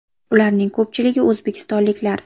Ularning ko‘pchiligi o‘zbekistonliklar.